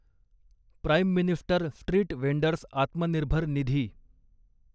prime minister street vendors आत्मनिर्भर निधी